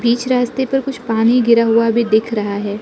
इस रास्ते पर कुछ पानी गिरा हुआ भी दिख रहा है।